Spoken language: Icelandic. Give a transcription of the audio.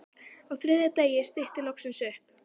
Á þriðja degi stytti loksins upp.